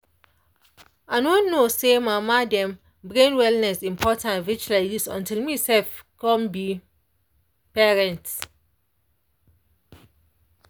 i no know say mama dem brain wellness important reach like this until me sef come be parent.